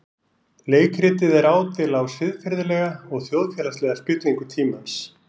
Leikritið er ádeila á siðferðilega og þjóðfélagslega spillingu tímans.